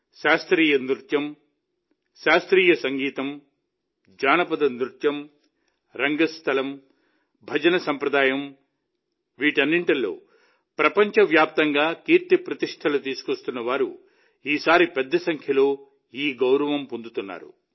శాస్త్రీయ నృత్యం శాస్త్రీయ సంగీతం జానపద నృత్యం రంగస్థలం భజన ప్రపంచంలో దేశానికి కీర్తిప్రతిష్టలు తీసుకొస్తున్న వారు ఈసారి పెద్ద సంఖ్యలో ఈ గౌరవం పొందుతున్నారు